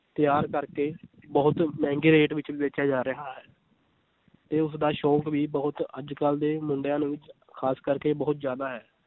ਤਿਆਰ ਕਰਕੇ ਬਹੁਤ ਮਹਿੰਗੇ rate ਵਿੱਚ ਵੇਚਿਆ ਜਾ ਰਿਹਾ ਹੈ ਤੇ ਉਸਦਾ ਸ਼ੌਂਕ ਵੀ ਬਹੁਤ ਅੱਜ ਕੱਲ੍ਹ ਦੇ ਮੁੰਡਿਆਂ ਦੇ ਵਿੱਚ ਖਾਸ ਕਰਕੇ ਬਹੁਤ ਜ਼ਿਆਦਾ ਹੈ